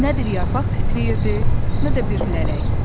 Nə bir yarpaq titrəyirdi, nə də bir lələk.